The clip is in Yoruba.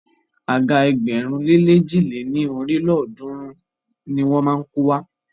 Àga ẹgbẹ̀rún lé lèjì lé ní ọ́rin lélọ́ọ̀dúnrún ni wọ́n má a kó wá.